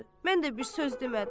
Mən də bir söz demədim.